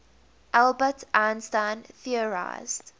albert einstein theorized